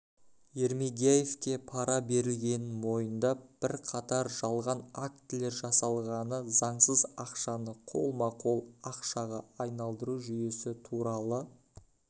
ермегияевке пара берілгенін мойындап бірқатар жалған актілер жасалғаны заңсыз ақшаны қолма-қол ақшаға айналдыру жүйесі туралы